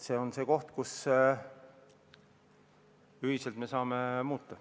See on see koht, mida me ühiselt saame muuta.